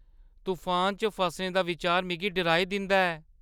तफानै च फसने दा बिचार मिगी डराई दिंदा ऐ।